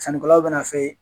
Sanni kɛlaw bɛ na f'e ye.